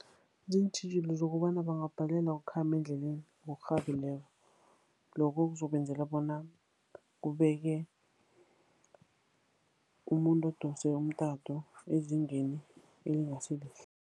Ziintjhijilo zokobana bangabhalelwa ukukhamba endleleni ngokurhabileko. Lokho kuzobenzela bona kubekee umuntu odose umtato ezingeni elingasi lihle.